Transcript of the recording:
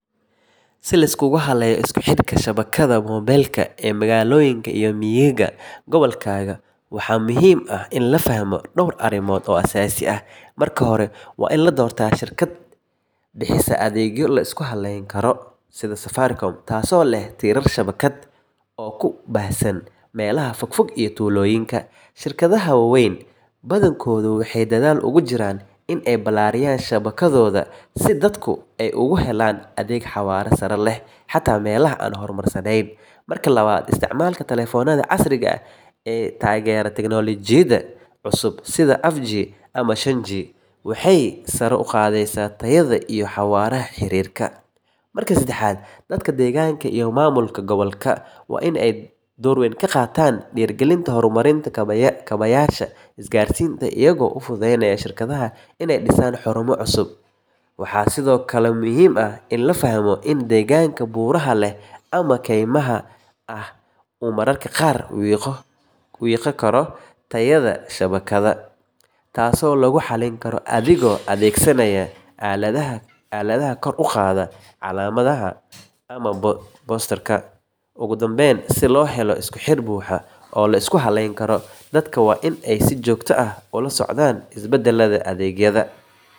Si loo isku halleeyo isku xidhka shabakadda moobilka ee magaalooyinka iyo miyiga gobolkaaga, waxaa muhiim ah in la fahmo dhowr arrimood oo aasaasi ah. Marka hore, waa in la doortaa shirkad bixisa adeegyo la isku halayn karo, taasoo leh tiirar shabakad oo ku baahsan meelaha fogfog iyo tuulooyinka. Shirkadaha waaweyn badankoodu waxay dadaal ugu jiraan in ay ballaariyaan shabakadooda, si dadku ay ugu helaan adeeg xawaare sare leh xataa meelaha aan horumarsanayn. Marka labaad, isticmaalka taleefannada casriga ah ee taageera tiknoolajiyadda cusub sida af jee ama shan jee, waxay sare u qaadaysaa tayada iyo xawaaraha xiriirka. Marka saddexaad, dadka deegaanka iyo maamulka gobolka waa in ay door weyn ka qaataan dhiirrigelinta horumarinta kaabayaasha isgaarsiinta, iyagoo u fududeynaya shirkadaha inay dhisaan xarumo cusub. Waxaa sidoo kale muhiim ah in la fahmo in deegaanka buuraha leh ama kaymaha ah uu mararka qaar wiiqo karo tayada shabakadda, taasoo lagu xallin karo adigoo adeegsanaya aaladaha kor u qaada calaamadda ama boosters. Ugu dambayn, si loo helo isku xidh buuxa oo la isku halayn karo, dadka waa in ay si joogto ah ula socdaan isbeddellada adeegyada, kuna dhiiradaan inay ka codsadaan shirkadahooda inay gaaraan meelaha adeeggu gaabis yahay. Isku xidhka magaalooyinka iyo miyigu wuxuu muhiim u yahay isku socodka, ganacsiga, iyo helitaanka adeegyada muhiimka ah sida caafimaadka iyo waxbarashada.